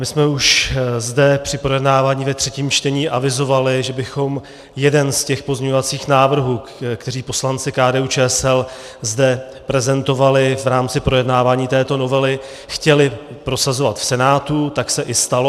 My jsme už zde při projednávání ve třetím čtení avizovali, že bychom jeden z těch pozměňovacích návrhů, které poslanci KDU-ČSL zde prezentovali v rámci projednávání této novely, chtěli prosazovat v Senátu, tak se i stalo.